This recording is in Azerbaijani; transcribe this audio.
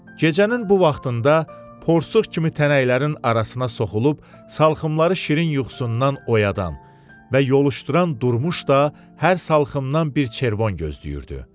Gecənin bu vaxtında porçuq kimi tənəklərin arasına soxulub salxımları şirin yuxusundan oyadan və yoluşduran Durmuş da hər salxımdan bir çervon gözləyirdi.